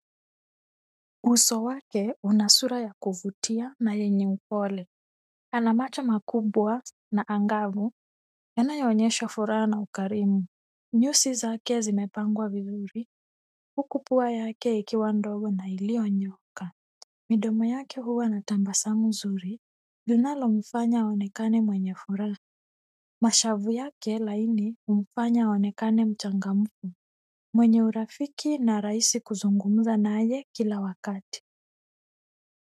Uso wake una sura ya kuvutia na yenye upole ana macho makubwa na angavu yanayo onyesha furaha na ukarimu. Nyusi zake zimepangwa vizuri huku pua yake ikiwa ndogo na iliyo nyooka. Midomo yake huwa natabasamu nzuri linalomfanya aonekane mwenye furaha. Mashavu yake laini humfanya aonekane mchangamfu mwenye urafiki na rahisi kuzungumza naye kila wakati.